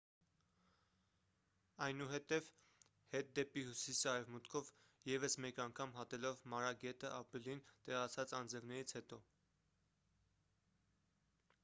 այնուհետև հետ դեպի հյուսիս արևմուտքով ևս մեկ անգամ հատելով մարա գետը ապրիլին տեղացած անձրևներից հետո